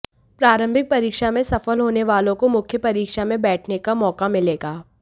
प्रारंभिक परीक्षा में सफल होने वालों को मुख्य परीक्षा में बैठने का मौका मिलेगा